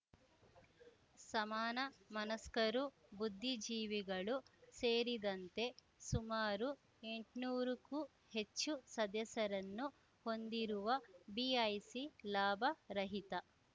ಸಮಾನ ಮನಸ್ಕರು ಬುದ್ಧಿಜೀವಿಗಳು ಸೇರಿದಂತೆ ಸುಮಾರು ಎಂಟ್ನೂರಕ್ಕೂ ಹೆಚ್ಚು ಸದಸ್ಯರನ್ನು ಹೊಂದಿರುವ ಬಿಐಸಿ ಲಾಭ ರಹಿತ